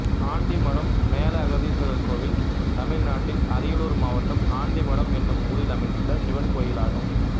ஆண்டிமடம் மேலஅகதீஸ்வரர் கோயில் தமிழ்நாட்டில் அரியலூர் மாவட்டம் ஆண்டிமடம் என்னும் ஊரில் அமைந்துள்ள சிவன் கோயிலாகும்